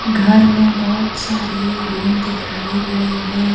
घर में बहुत सारे रूम दिखाए गए हैं।